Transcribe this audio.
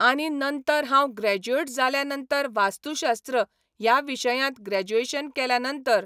आनी नंतर हांव ग्रॅज्युएट जाल्यां नंतर वास्तुशास्त्र ह्या विशयांत ग्रॅज्युएशन केल्या नंतर,